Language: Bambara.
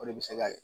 O de bɛ se ka